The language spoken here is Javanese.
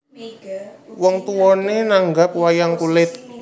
Wong tuwané nanggap wayang kulit